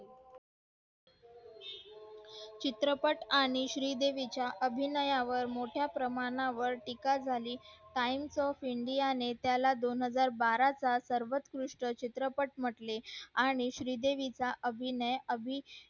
चित्रपट आणि श्री देवी च्या अभिनयावर मोठया प्रमाणावर टीका झाली times of india ने त्याला दोन हजार बारा चा सर्वत्कृष्ट चित्रपट म्हटले आणि श्री देवी चा अभिनय